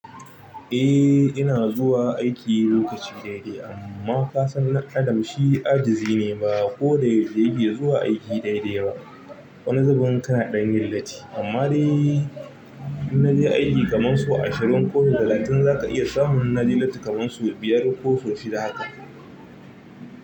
Eh ina zuwa aiki lokaci daidai amma ka san ɗan adam shi ajizi ne ba ko da yaushe yake zuwa aiki daida yawa. Wani zubin kanadan yin latti amma dai in na je aiki kaman sau ashirin ko talatin za ka iya samun na je latti kaman sau biyar ko sau shida haka.